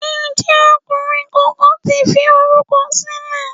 Ǹjẹ́ ọkùnrin kankan ti fi orúkọ sílẹ̀?